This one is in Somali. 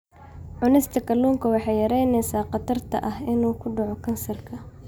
Cunista kalluunka waxay yaraynaysaa khatarta ah inuu ku dhaco kansarka.